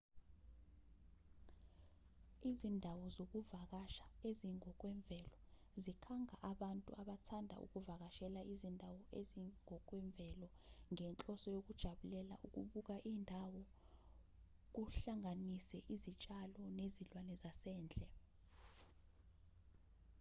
izindawo zokuvakasha ezingokwemvelo zikhanga abantu abathanda ukuvakashela izindawo ezingokwemvelo ngenhloso yokujabulela ukubuka indawo kuhlanganise izitshalo nezilwane zasendle